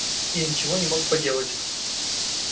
я ничего не мог поделать